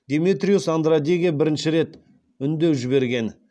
деметриус андрадеге бірнеше рет үндеу жіберген